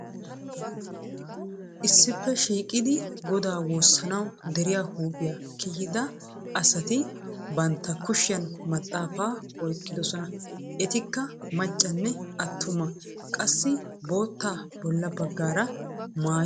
Issippe shiiqidi godaa woosanaassi deriya huuphiya kiyidda asati bantta kushshiyan maxafaa oyqqidosona. etikka macsnne atumma qassi bootaa bila bagaara maayi uttidosona.